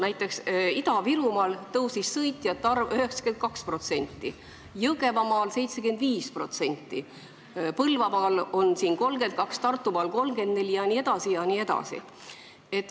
Näiteks Ida-Virumaal kasvas see 92%, Jõgevamaal 75%, Põlvamaal 32%, Tartumaal 34% jne.